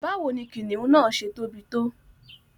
Báwo ni kìnnìún náà ṣẹ̀ tóbi tó?